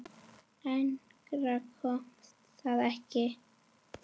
Lengra komst það ekki.